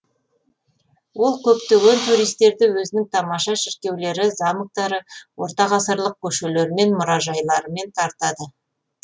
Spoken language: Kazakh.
ол көптеген туристерді өзінің тамаша шіркеулері замоктары ортағасырлық көшелері және мұрайжайларымен тартады